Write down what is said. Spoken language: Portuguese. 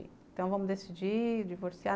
Então vamos decidir, divorciar.